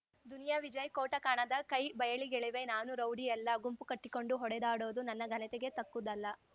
ದುನಿಯಾ ವಿಜಯ ಕೋಟ ಕಾಣದ ಕೈ ಬಯಲಿಗೆಳೆವೆ ನಾನು ರೌಡಿಯಲ್ಲ ಗುಂಪು ಕಟ್ಟಿಕೊಂಡು ಹೊಡೆದಾಡೋದು ನನ್ನ ಘನತೆಗೆ ತಕ್ಕುದಲ್ಲ